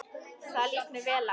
Það líst mér vel á.